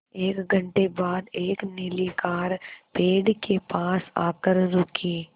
एक घण्टे बाद एक नीली कार पेड़ के पास आकर रुकी